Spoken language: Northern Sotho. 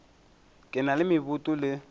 le na le meboto le